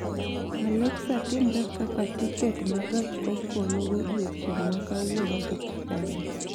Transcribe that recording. aleksa timre kaka tiket ma gach okologodiechieng' ma kawuono dhi chikago